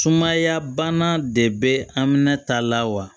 Sumaya bana de bɛ aminata lawa